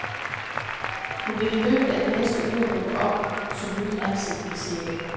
Hun vil i løbet af de næste uger dukke op som nyt ansigt i serien.